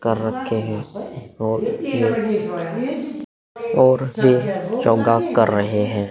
कर रखे हैं और ये और ये योगा कर रहे हैं।